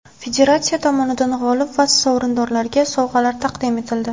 Federatsiya tomonidan g‘olib va sovrindorlarga sovg‘alar taqdim etildi.